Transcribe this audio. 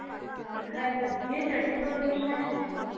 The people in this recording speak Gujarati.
ઈકબાલગડ જઈ ને ચણીયાચોલી તો મને સારી લાગી તી